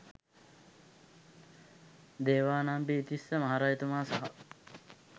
දේවානම්පියතිස්ස මහරජතුමා සහ